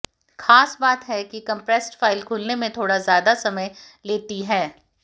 खास बात है कि कम्प्रेस्ड फाइल खुलने में थोड़ा ज्यादा समय लेती है